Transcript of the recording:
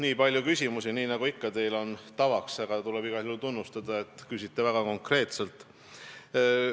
Nii palju küsimusi, nii nagu teil ikka tavaks on, aga tuleb igal juhul tunnustada, et te küsite väga konkreetselt.